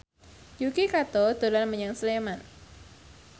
Yuki Kato dolan menyang Sleman